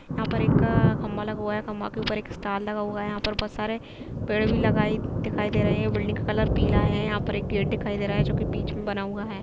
यहाँ पर एक खंभा लगा हुआ है खंभे के ऊपर एक स्टार लगा हुआ है यहाँ पर बहुत सारे पेड़ लगे हुए दिखाई दे रहे हैं बिल्डिंग का कलर पीला है एक गेट दिखाई दे रहा है जो की बीच में बना हुआ है।